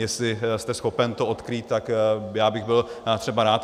Jestli jste schopen to odkrýt, tak já bych byl třeba rád.